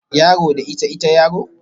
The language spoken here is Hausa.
Yaro da ita, ita yaro